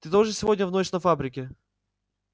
ты тоже сегодня в ночь на фабрике